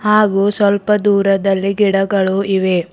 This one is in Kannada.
ಹಾಗು ಸ್ವಲ್ಪ ದೂರದಲ್ಲಿ ಗಿಡಗಳು ಇವೆ.